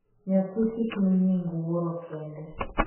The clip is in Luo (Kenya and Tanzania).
nyathi kik mi nying' wuoro kende